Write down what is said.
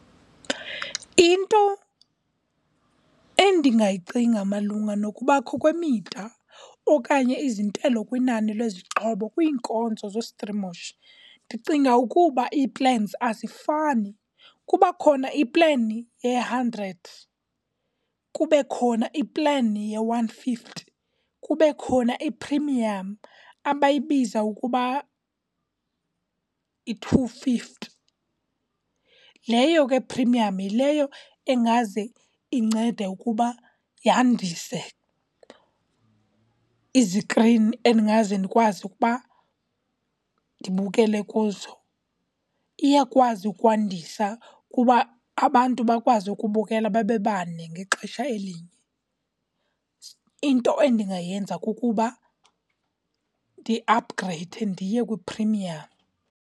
Into endingayicinga malunga nokubakho kwemida okanye izintelo kwinani lwezixhobo kwiinkonzo zostrimisho. Ndicinga ukuba ii-plans azifani. Kuba khona i-plan ye-hundred, kube khona i-plan ye-one fifty, kube khona i-premium abayibiza ukuba yi-two fifty. Leyo ke premium yileyo engaze incede ukuba yandise izikrini endingaze ndikwazi ukuba ndibukele kuzo. Iyakwazi ukwandisa kuba abantu bakwazi ukubukela babe bane ngexesha elinye. Into endingayenza kukuba ndiaphugreyide ndiye kwi-premium.